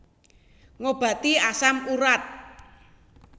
Ngobati asam urat